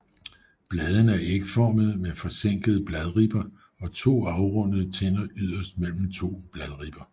Bladene er ægformede med forsænkede bladribber og to afrundede tænder yderst mellem to bladribber